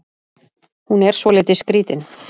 Hún er svolítið skrítin.